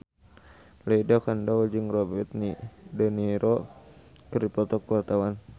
Lydia Kandou jeung Robert de Niro keur dipoto ku wartawan